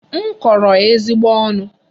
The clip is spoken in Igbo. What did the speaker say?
M kọrọ ya ezigbo ọnụ.